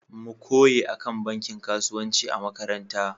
Mu koye akan banki kasuwanci a makaranta.